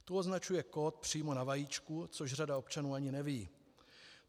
Tu označuje kód přímo na vajíčku, což řada občanů ani neví.